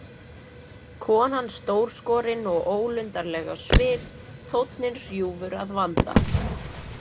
Konan stórskorin og ólundarleg á svip, tónninn hrjúfur að vanda.